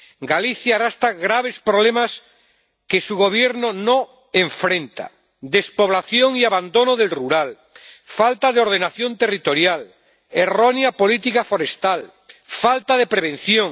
Galicia arrastra graves problemas que su Gobierno no enfrenta despoblación y abandono del medio rural, falta de ordenación territorial, errónea política forestal, falta de prevención.